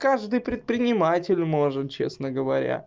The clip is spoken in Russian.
каждый предприниматель может честно говоря